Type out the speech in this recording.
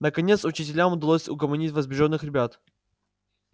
наконец учителям удалось угомонить возбуждённых ребят